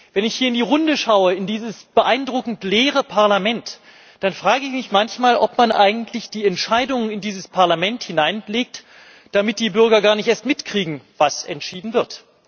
Wenn ich hier in die Runde schaue in dieses beeindruckend leere Parlament dann frage ich mich manchmal, ob man eigentlich die Entscheidung in dieses Parlament hineinlegt, damit die Bürger gar nicht erst mitkriegen, was entschieden wird.